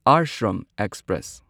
ashram express